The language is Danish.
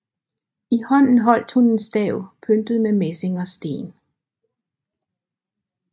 I hånden holdt hun en stav pyntet med messing og sten